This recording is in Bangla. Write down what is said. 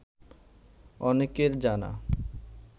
অনেকের জানা